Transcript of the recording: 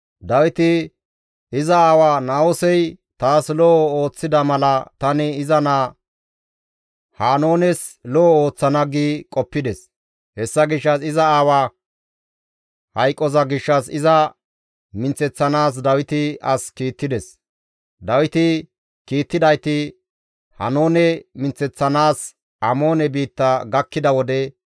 Dawiti, «Iza aawa Na7oosey taas lo7o ooththida mala tani iza naa Haanoones lo7o ooththana» gi qoppides; hessa gishshas iza aawaa hayqoza gishshas iza minththeththanaas Dawiti as kiittides. Dawiti kiittidayti Haanoone minththeththanaas Amoone biitta gakkida wode,